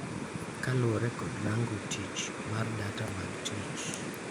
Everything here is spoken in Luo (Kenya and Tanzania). kaluwore kod Rango Tich mar Data mag Tich